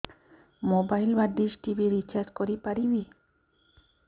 mobile ବା dish TV recharge କରି ପାରିବି